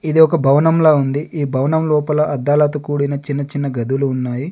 ఇది ఒక భవనంలా ఉంది. ఈ భవనం లోపల అద్దాలతో కూడిన చిన్న చిన్న గదులు ఉన్నాయి.